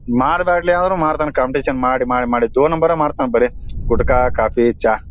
ಮಾರಬೇಡಿ ಅಂದ್ರು ಮಾಡತಾನೆ ಕಾಂಪಿಟಿಷನ್ ಮಾಡಿ ಮಾಡಿ ಮಾಡಿ ದೋ ನಂಬರೇ ಮಾಡ್ತಾನೆ ಬರೇ ಗುಡ್ಕ ಕಾಫಿ ಚಾ--